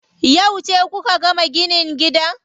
Yauce kuka gama ginin gidan?